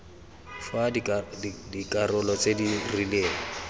fa dikarolo tse di rileng